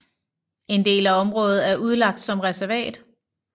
En del af området er udlagt som reservat